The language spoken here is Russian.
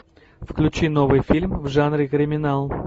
включи новый фильм в жанре криминал